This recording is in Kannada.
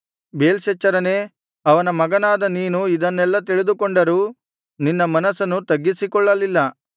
ಬೇಲ್ಶಚ್ಚರನೇ ಅವನ ಮಗನಾದ ನೀನು ಇದನ್ನೆಲ್ಲಾ ತಿಳಿದುಕೊಂಡರೂ ನಿನ್ನ ಮನಸ್ಸನ್ನು ತಗ್ಗಿಸಿಕೊಳ್ಳಲಿಲ್ಲ